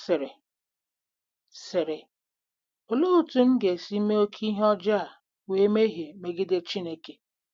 Ọ sịrị: sịrị: “Olee otú m ga-esi mee oké ihe ọjọọ a wee mehie megide Chineke?